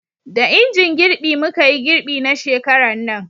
da injin girbi muka yi girbi na shekaran nan